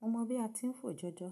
Mo mọ̀ bí a ti ń fò jọjọ